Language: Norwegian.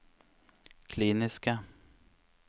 kliniske